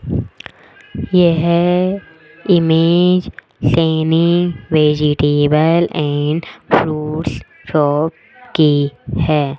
यह image Saini vegetable and fruits shop की है।